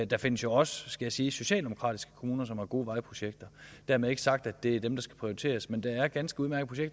der findes jo også skal jeg sige socialdemokratiske kommuner som har gode vejprojekter dermed ikke sagt at det er dem der skal prioriteres men der er ganske udmærkede